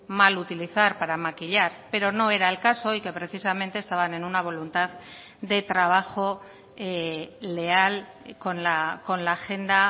mal utilizar para maquillar pero no era el caso y que precisamente estaban en una voluntad de trabajo leal con la agenda